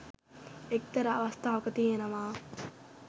එක්තරා අවස්ථාවක තියෙනවා